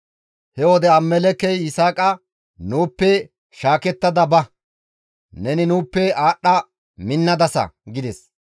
He wode Abimelekkey Yisaaqa, «Nuuppe shaakettada ba; neni nuuppe aadhdha minnadasa» gides.